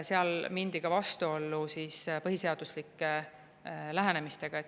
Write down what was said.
Seal mindi vastuollu ka põhiseaduslike lähenemistega.